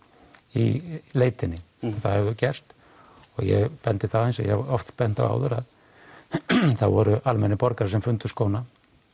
í leitinni og það hefur gert það og eins og ég hef oft bent á voru almennir borgarar sem fundu skóna